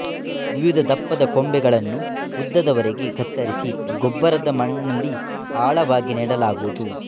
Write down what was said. ವಿವಿಧ ದಪ್ಪದ ಕೊಂಬೆಗಳನ್ನು ಉದ್ದದ ವರೆಗೆ ಕತ್ತರಿಸಿ ಗೊಬ್ಬರದ ಮಣ್ಣಲ್ಲಿ ಆಳವಾಗಿ ನೆಡಲಾಗುತ್ತದೆ